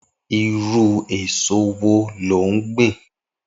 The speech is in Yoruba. Irù ésó wó ló n gbin?